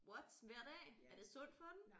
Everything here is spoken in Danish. What hver dag er det sundt for den?